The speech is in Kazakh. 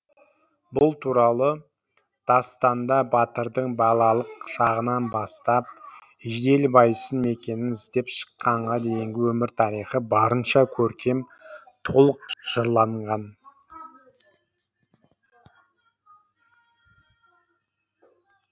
бұл туралы дастанда батырдың балалық шағынан бастап жиделібайсын мекенін іздеп шыққанға дейінгі өмір тарихы барынша көркем толық жырланған